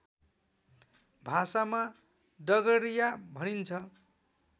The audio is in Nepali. भाषामा डगरिया भनिन्छ